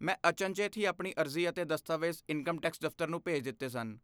ਮੈਂ ਅਚਨਚੇਤ ਹੀ ਆਪਣੀ ਅਰਜ਼ੀ ਅਤੇ ਦਸਤਾਵੇਜ਼ ਇਨਕਮ ਟੈਕਸ ਦਫ਼ਤਰ ਨੂੰ ਭੇਜ ਦਿੱਤੇ ਸਨ।